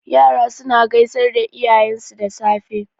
Yara suna gaisar da iyayensu da safe.